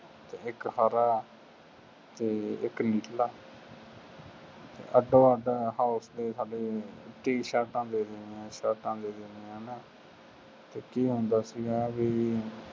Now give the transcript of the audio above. ਇੱਕ ਹਰਾ ਅਤੇ ਇੱਕ ਨੀਲਾ, ਅੱਧੋ ਅੱਧ house ਦੇ ਸਾਡੇ ਟੀ-ਸ਼ਰਟਾਂ ਦੇ ਦੇਣੀਆਂ, ਸ਼ਰਟਾਂ ਦੇ ਦੇਣੀਆਂ ਹੈ ਨਾ ਫੇਰ ਕੀ ਹੁੰਦਾ ਸੀਗਾ ਬਈ,